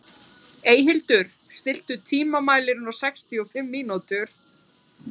Eyhildur, stilltu tímamælinn á sextíu og fimm mínútur.